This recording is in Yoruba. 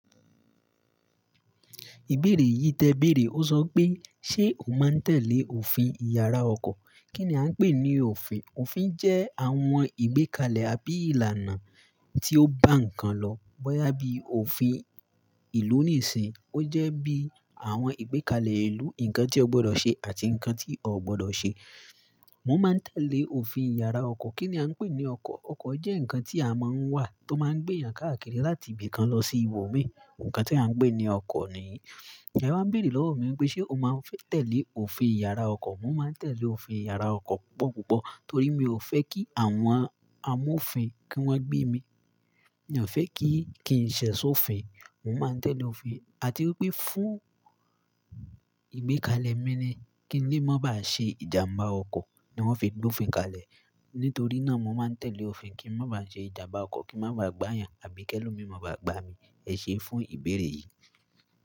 Ìbéèrè yìí tẹ béèrè. Ó sọ pé, "Ṣé o máa ń tẹ́lẹ̀ òfin ìyàrá ọkọ̀? Kí ni a ń pè ní òfin? Òfin jẹ́ àwọn ìgbékalẹ̀ àbí ìlànà tí ó bá nǹkan lọ. Bọ́yá bí òfin ìlú nìísìnyi, ó jẹ́ bí àwọn ìgbékalẹ̀ ìlú, nǹkan tí o gbọdọ̀ ṣe àti nǹkan tí o ò gbọdọ̀ ṣe. Mo máa ń tẹ́lẹ̀ òfin ìyàrá ọkọ̀. Kí ni a ń pè ní ọkọ̀? Ọkọ̀ jẹ́ nǹkan tí a máa ń wà tó máa ń gbé eeyàn káàkiri láti ibì kan lọ sí ibòmíràn. Nǹkan tí a ń pé ní ọkọ̀ nìyí. E wa ń béèrè lọ́wọ́ mi pé, "Ṣé o máa ń tẹ̀lé òfin ìyàrá ọkọ̀?" Mo máa ń tẹ̀lé òfin ìyàrá ọkọ̀ púpọ̀ púpọ̀ torí mi ò fẹ́ kí àwọn amófin kí wọ́n gbé mi. Mi ò fẹ́ kí n ṣẹ̀ṣi òfin. Mo máa ń tẹ́lẹ̀ òfin. Àti wipé fún ìgbékalẹ̀ mi ni kí n lè má ba à ṣe ìjàmbá ọkọ̀ ni wọn fi gbófin kalẹ̀. Nítorí náà mo máa ń tẹ̀lé òfin kí n má ba à ṣe ìjàmbá ọkọ̀, kí n má ba à gbá eeyàn àbí ki ẹ́lomi má ba à gbá mi. Ẹ ṣe fún ìbéèrè yìí.